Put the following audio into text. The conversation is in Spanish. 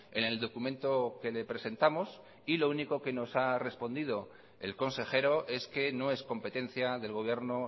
en el documento que le presentamos y lo único que nos ha respondido el consejero es que no es competencia del gobierno